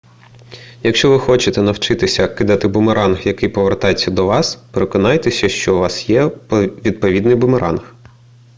якщо ви хочете навчитися кидати бумеранг який повертається до вас переконайтеся що у вас є відповідний бумеранг